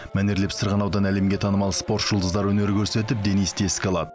мәнерлеп сырғанаудан әлемге танымал спорт жұлдыздары өнер көрсетіп денисті еске алады